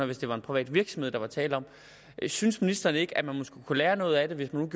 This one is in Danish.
hvis det var en privat virksomhed der var tale om synes ministeren ikke at man måske kunne lære noget af det hvis nogle